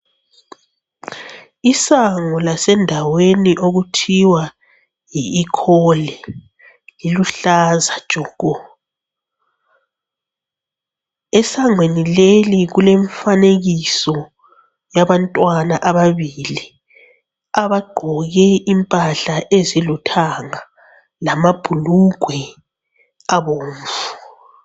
Isango lasendaweni okuthiwa yi Ikholi liluhlaza tshoko, esangweni leli kulemfanekiso yabantwana ababili abagqoke impahla ezilithanga lamabhulugwe abomvu.